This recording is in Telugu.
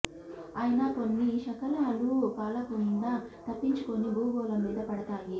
అయినా కొన్ని శకలాలు కాలకుండా తప్పించుకుని భూ గోళం మీద పడతాయి